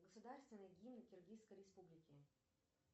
государственный гимн киргизской республики